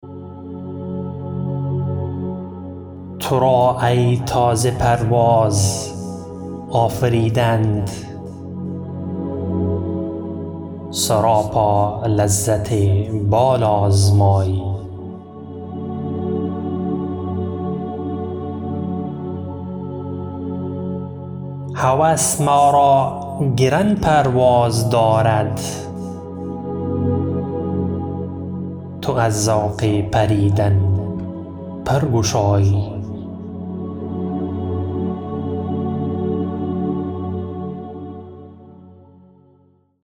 ترا ای تازه پرواز آفریدند سراپا لذت بال آزمایی هوس ما را گران پرواز دارد تو از ذوق پریدن پر گشایی